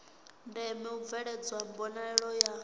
ndeme u bveledzwa mbonalelo ya